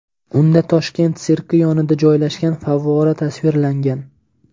Unda Toshkent sirki yonida joylashgan favvora tasvirlangan.